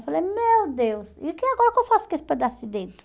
Eu falei, meu Deus, e que agora o que eu faço com esse pedaço de dedo?